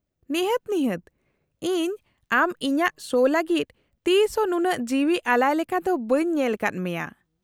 -ᱱᱤᱦᱟᱹᱛ , ᱱᱤᱦᱟᱹᱛ , ᱤᱧ ᱟᱢ ᱤᱧᱟᱹᱜ ᱥᱳ ᱞᱟᱜᱤᱫ ᱛᱤᱥ ᱦᱚᱸ ᱱᱩᱱᱟᱹᱜ ᱡᱤᱣᱤ ᱟᱞᱟᱭ ᱞᱮᱠᱟ ᱫᱚ ᱵᱟᱹᱧ ᱧᱮᱞ ᱟᱠᱟᱫ ᱢᱮᱭᱟ ᱾